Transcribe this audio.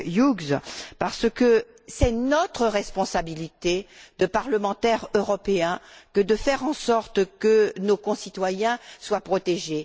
Hughes, parce que c'est notre responsabilité de parlementaires européens de faire en sorte que nos concitoyens soient protégés.